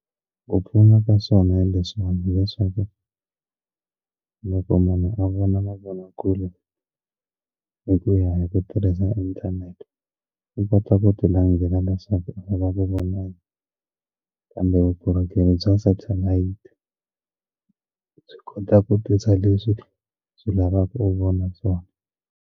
Ku pfuna ka swona hi leswiwani hileswaku loko munhu a vona na mavonakule hi ku ya hi ku tirhisa inthanete u kota ku ti landzela leswaku a va ka vona kambe vukorhokeri bya satellite swi kota ku tisa leswi swi lavaka u vona swona.